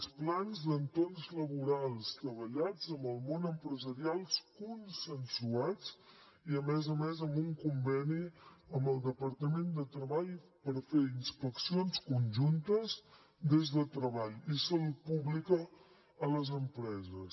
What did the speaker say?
els plans d’entorns laborals treballats amb el món empresarial consensuats i a més a més amb un conveni amb el departament de treball per fer inspeccions conjuntes des de treball i salut pública a les empreses